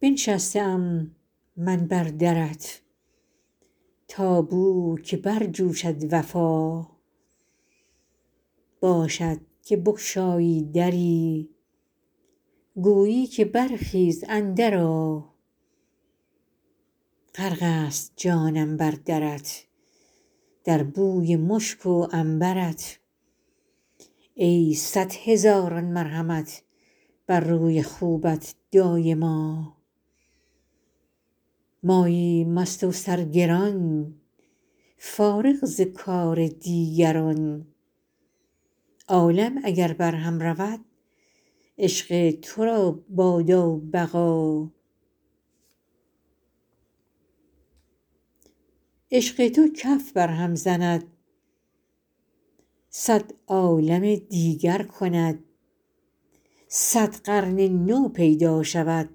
بنشسته ام من بر درت تا بوک برجوشد وفا باشد که بگشایی دری گویی که برخیز اندرآ غرق ست جانم بر درت در بوی مشک و عنبر ت ای صد هزاران مرحمت بر روی خوبت دایما ماییم مست و سرگران فارغ ز کار دیگران عالم اگر برهم رود عشق تو را بادا بقا عشق تو کف برهم زند صد عالم دیگر کند صد قرن نو پیدا شود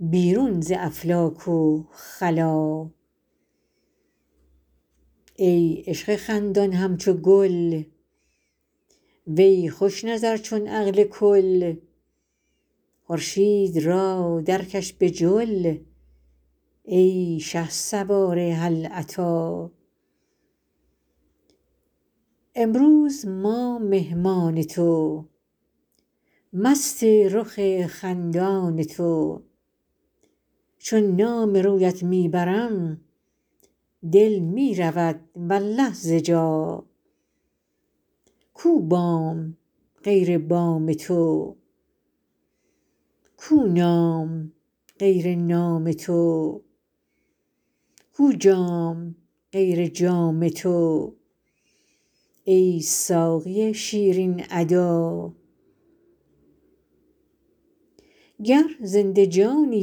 بیرون ز افلاک و خلا ای عشق خندان همچو گل وی خوش نظر چون عقل کل خورشید را درکش به جل ای شهسوار هل اتی امروز ما مهمان تو مست رخ خندان تو چون نام رویت می برم دل می رود والله ز جا کو بام غیر بام تو کو نام غیر نام تو کو جام غیر جام تو ای ساقی شیرین ادا گر زنده جانی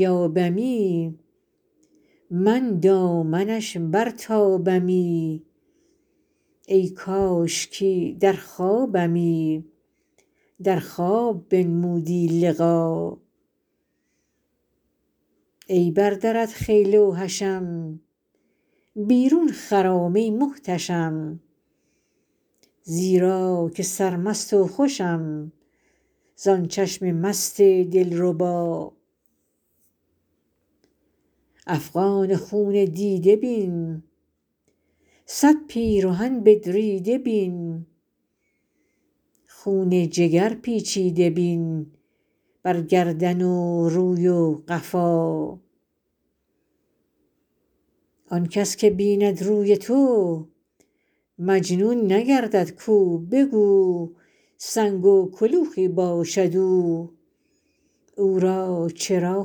یابمی من دامنش برتابمی ای کاشکی در خوابمی در خواب بنمودی لقا ای بر درت خیل و حشم بیرون خرام ای محتشم زیرا که سرمست و خوشم زان چشم مست دلربا افغان و خون دیده بین صد پیرهن بدریده بین خون جگر پیچیده بین بر گردن و روی و قفا آن کس که بیند روی تو مجنون نگردد کو به کو سنگ و کلوخی باشد او او را چرا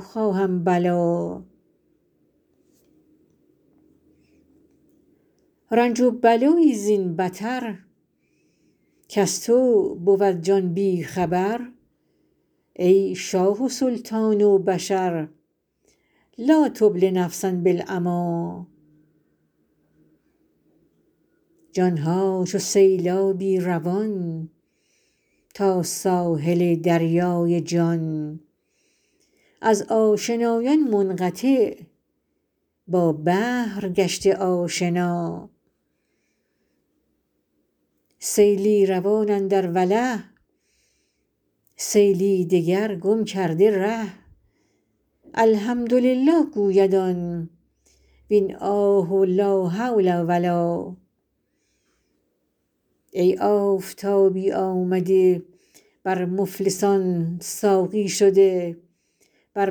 خواهم بلا رنج و بلایی زین بتر کز تو بود جان بی خبر ای شاه و سلطان بشر لا تبل نفسا بالعمی جان ها چو سیلابی روان تا ساحل دریای جان از آشنایان منقطع با بحر گشته آشنا سیلی روان اندر وله سیلی دگر گم کرده ره الحمدلله گوید آن وین آه و لا حول و لا ای آفتابی آمده بر مفلسان ساقی شده بر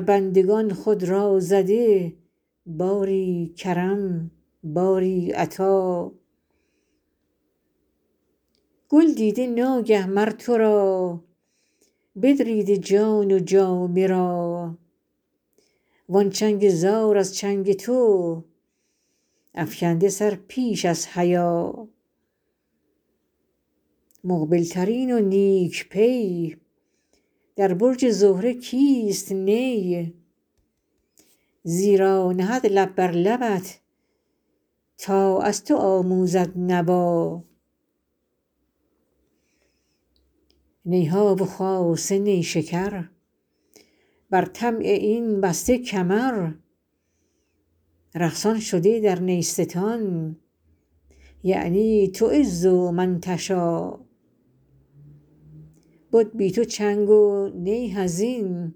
بندگان خود را زده باری کرم باری عطا گل دیده ناگه مر تو را بدریده جان و جامه را وان چنگ زار از چنگ تو افکنده سر پیش از حیا مقبل ترین و نیک پی در برج زهره کیست نی زیرا نهد لب بر لبت تا از تو آموزد نوا نی ها و خاصه نیشکر بر طمع این بسته کمر رقصان شده در نیستان یعنی تعز من تشا بد بی تو چنگ و نی حزین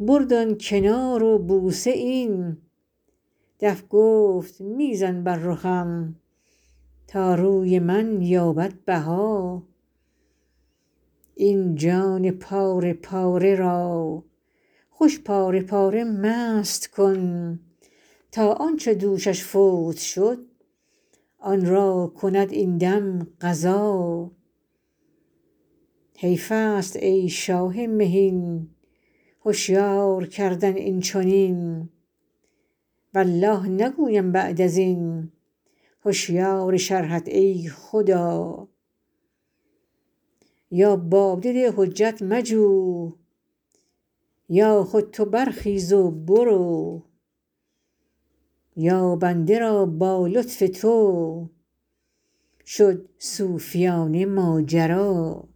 برد آن کنار و بوسه این دف گفت می زن بر رخم تا روی من یابد بها این جان پاره پاره را خوش پاره پاره مست کن تا آن چه دوشش فوت شد آن را کند این دم قضا حیف است ای شاه مهین هشیار کردن این چنین والله نگویم بعد از این هشیار شرحت ای خدا یا باده ده حجت مجو یا خود تو برخیز و برو یا بنده را با لطف تو شد صوفیانه ماجرا